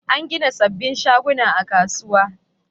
An gina sabbin shaguna a kasuwar.